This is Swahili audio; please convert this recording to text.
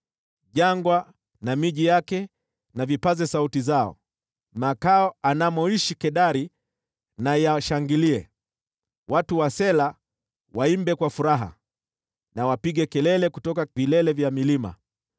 Jangwa na miji yake na vipaze sauti zao; makao anamoishi Kedari na yashangilie. Watu wa Sela waimbe kwa furaha, na wapige kelele kutoka vilele vya milima.